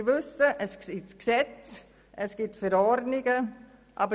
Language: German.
Wir wissen, dass es das Gesetz und Verordnungen gibt.